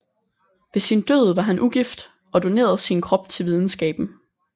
Ved sin død var han ugift og donerede sin krop til videnskaben